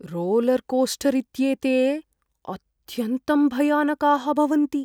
Roller coaster इत्येते अत्यन्तं भयानकाः भवन्ति।